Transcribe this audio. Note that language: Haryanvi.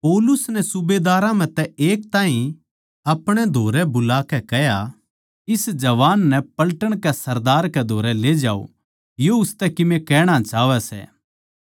पौलुस नै सूबेदारां म्ह तै एक ताहीं अपणे धोरै बुलाकै कह्या इस जवान नै पलटन के सरदार कै धोरै ले जाओ यो उसतै कीमे कहणा चाहवै सै